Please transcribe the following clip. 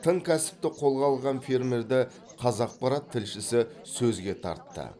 тың кәсіпті қолға алған фермерді қазақпарат тілшісі сөзге тартты